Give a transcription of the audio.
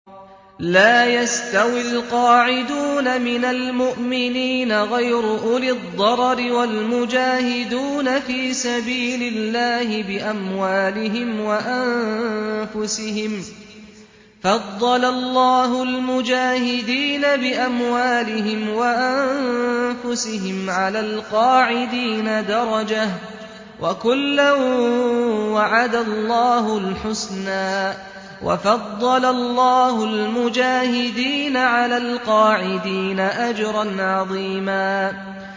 لَّا يَسْتَوِي الْقَاعِدُونَ مِنَ الْمُؤْمِنِينَ غَيْرُ أُولِي الضَّرَرِ وَالْمُجَاهِدُونَ فِي سَبِيلِ اللَّهِ بِأَمْوَالِهِمْ وَأَنفُسِهِمْ ۚ فَضَّلَ اللَّهُ الْمُجَاهِدِينَ بِأَمْوَالِهِمْ وَأَنفُسِهِمْ عَلَى الْقَاعِدِينَ دَرَجَةً ۚ وَكُلًّا وَعَدَ اللَّهُ الْحُسْنَىٰ ۚ وَفَضَّلَ اللَّهُ الْمُجَاهِدِينَ عَلَى الْقَاعِدِينَ أَجْرًا عَظِيمًا